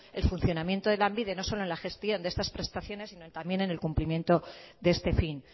el funcionamiento de lanbide no solo en la gestión de estas prestaciones sino también en el cumplimiento de este fin